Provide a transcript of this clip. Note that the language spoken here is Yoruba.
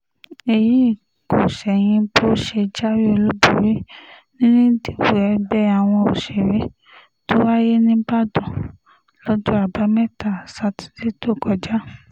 èyí kò ṣẹ̀yìn bó ṣe jáwé olúborí nínú ìdìbò ẹgbẹ́ àwọn òṣèré tó wáyé níìbàdàn lọ́jọ́ àbámẹ́ta sátidé tó kọjá